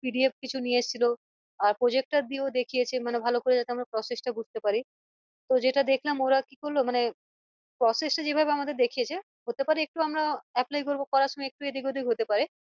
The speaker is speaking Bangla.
PDF কিছু নিয়ে এসছিল আর projector দিয়েও দেখিয়েছে মানে ভালো করে যাতে আমরা process ট বুঝতে পারি যেটা দেখালাম ওরা কি করলো মানে process টা যেভাবে আমাদের দেখিয়েছে হতে পারে একটু আমরা আহ একলাই করব করার সময় একটু এদিক ওদিক হতে পারে